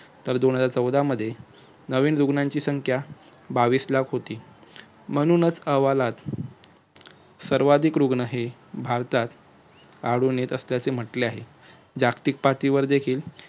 तर दोन हजार चौदा मध्ये नवीन रुग्णांची संख्या बावीस लाख होती म्हणूनच अहवालात सर्वात अधिक रुग्ण हे भारतात आढळून येत असल्याचे म्हंटले आहे. जागतिक पातळीवर देखील